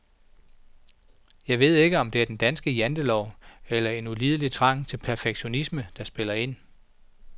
Jeg ved ikke, om det er den danske jantelov eller en ulidelig trang til perfektionisme, der spiller ind.